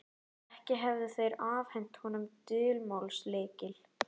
Ekki hefðu þeir afhent honum dulmálslykil.